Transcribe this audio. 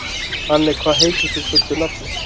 Anney, hvað heitir þú fullu nafni?